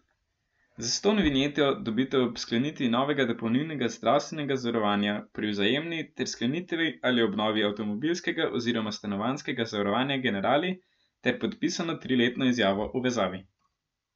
Zastonj vinjeto dobite ob sklenitvi novega dopolnilnega zdravstvenega zavarovanja pri Vzajemni ter sklenitvi ali obnovi avtomobilskega oziroma stanovanjskega zavarovanja Generali ter podpisano triletno izjavo o vezavi.